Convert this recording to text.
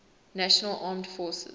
national armed forces